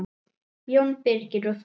Jón Birgir og Þórunn.